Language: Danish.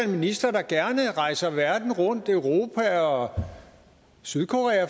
minister der gerne rejser verden rundt herunder europa og sydkorea